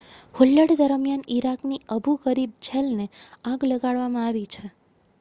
હુલ્લડ દરમિયાન ઇરાકની Abu Ghraib જેલને આગ લગાડવામાં આવી છે